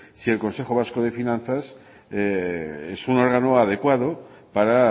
si el consejo vasco de finanzas es un órgano adecuado para